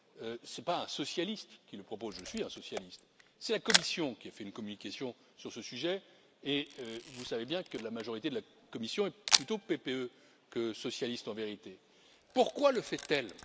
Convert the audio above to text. Ce n'est pas un socialiste qui le propose je suis un socialiste c'est la Commission qui a fait une communication sur ce sujet et vous savez bien que la majorité de la Commission est plutôt PPE que socialiste, en vérité. Pourquoi le fait elle?